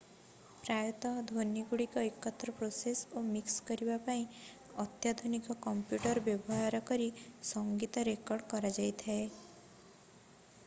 ପ୍ରାୟତଃ ଧ୍ୱନିଗୁଡ଼ିକୁ ଏକତ୍ର ପ୍ରୋସେସ୍ ଓ ମିକ୍ସ କରିବା ପାଇଁ ଅତ୍ୟାଧୁନିକ କମ୍ପ୍ୟୁଟର୍ ବ୍ୟବହାର କରି ସଙ୍ଗୀତ ରେକର୍ଡ କରାଯାଇଥାଏ